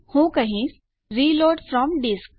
હું કહીશ reload from disk